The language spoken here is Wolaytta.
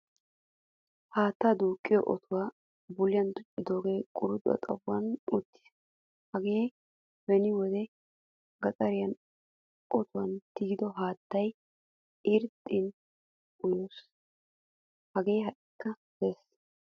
Haattaa duuqiyo otuwa buliyan tuccidoge quruxuwaa xaphphon uttiis. Hage beni wodiyan gaxaren otuwaan tigidi haattaa irxxin uyos. Hagee haika de'ees.